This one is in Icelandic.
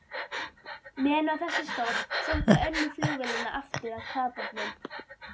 Meðan á þessu stóð, sótti önnur flugvélanna aftur að kafbátnum.